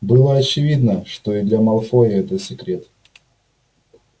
было очевидно что и для малфоя это секрет